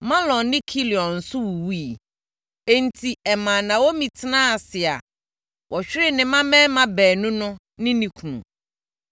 Mahlon ne Kilion nso wuwuiɛ. Enti, ɛmaa Naomi tenaa ase a wahwere ne mmammarima baanu no ne ne kunu.